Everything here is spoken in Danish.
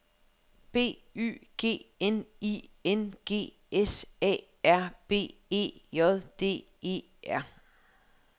B Y G N I N G S A R B E J D E R